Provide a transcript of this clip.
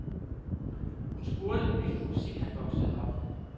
Hun spurgte, hvilken musik han voksede op med.